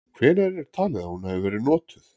Hvenær er talið að hún hafi verið notuð?